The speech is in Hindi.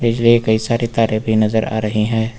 कई सारे तारे भी नजर आ रही है।